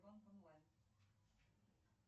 афина какая погода в